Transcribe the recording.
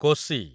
Kosi